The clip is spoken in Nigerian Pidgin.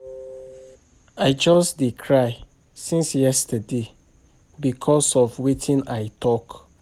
I just dey cry since yesterday because of wetin I talk